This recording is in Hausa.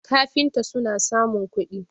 kafinta suna samun kudi